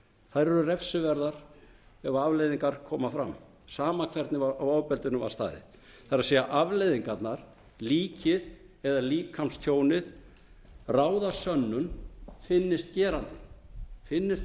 þær eru refsiverðar ef afleiðingar koma fram sama hvernig að ofbeldinu var staðið það er afleiðingarnar líkið eða líkamstjónið ráða sönnun finnist gerandinn finnist